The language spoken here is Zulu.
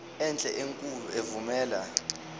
enhle enkulu evumela